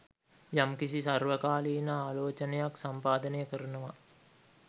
යම්කිසි සර්වකාලීන ආලෝචනයක් සම්පාදනය කරනවා